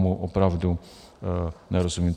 Tomu opravdu nerozumím.